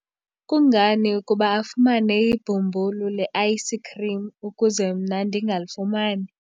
kungani ukuba afumane ibhumbulu le-ayisikhrim ukuze mna ndingalifumani?